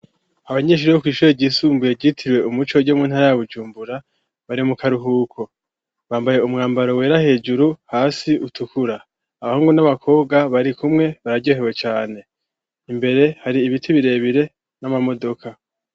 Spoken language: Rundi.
Abanyeshure bo kw'ishure ryisumbuye ryitiriwe umuco ryo mu ntara ya bujumbura bari mu karuhuko bambaye umwambaro wera hejuru hasi utukura abahungu n'abakobwa bari kumwe bararyohewe caane imbere hari ibiti birebire n'amamodoka.